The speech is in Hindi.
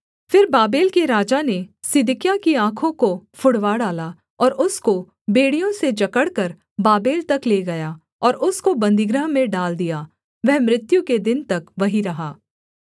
फिर बाबेल के राजा ने सिदकिय्याह की आँखों को फुड़वा डाला और उसको बेड़ियों से जकड़कर बाबेल तक ले गया और उसको बन्दीगृह में डाल दिया वह मृत्यु के दिन तक वहीं रहा